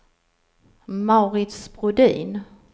Mauritz Brodin